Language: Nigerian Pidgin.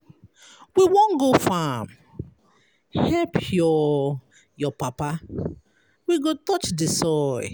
We wan go farm help your your papa, we go touch di soil.